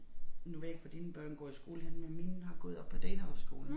Nu ved jeg ikke hvor dine børn går i skole henne men mine har gået oppe på Danehofskolen